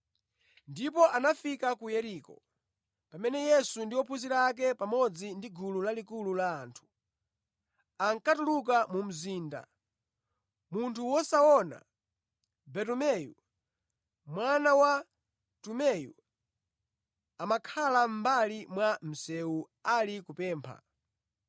Ndipo anafika ku Yeriko. Pamene Yesu ndi ophunzira ake, pamodzi ndi gulu lalikulu la anthu, ankatuluka mu mzinda, munthu wosaona, Bartumeyu (mwana wa Tumeyu), amakhala mʼmbali mwa msewu ali kupempha.